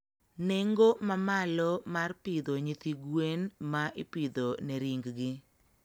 nengo mamalo mar pidho nyithigwen ma ipidho ne ring gi.